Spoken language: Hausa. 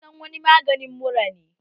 Actifide sunan wani magani mura ne